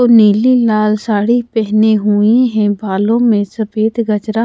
को नीली लाल साड़ी पहने हुए है बालों में सफेद गजरा--